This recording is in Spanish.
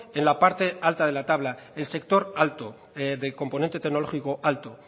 en la parte alta de la tabla el sector alto del componente tecnológico alto